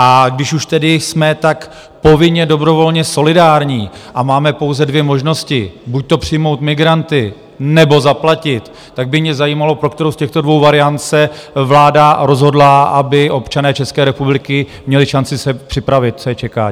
A když už tedy jsme tak povinně dobrovolně solidární a máme pouze dvě možnosti, buďto přijmout migranty, nebo zaplatit, tak by mě zajímalo, pro kterou z těchto dvou variant se vláda rozhodla, aby občané České republiky měli šanci se připravit, co je čeká.